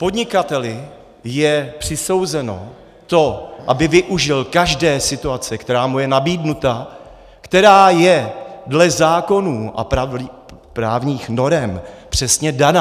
Podnikateli je přisouzeno to, aby využil každé situace, která mu je nabídnuta, která je dle zákonů a právních norem přesně daná.